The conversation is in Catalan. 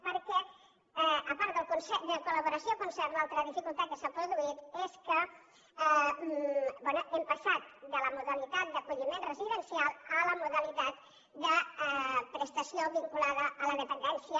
perquè a part de col·laboració i concert l’altra dificultat que s’ha produït és que bé hem passat de la modalitat d’acolliment residencial a la modalitat de prestació vinculada a la dependència